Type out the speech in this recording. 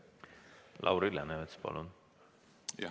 Lauri Läänemets, palun!